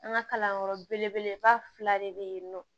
An ka kalanyɔrɔ belebeleba fila de be yen nɔ